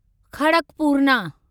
खड़कपूरना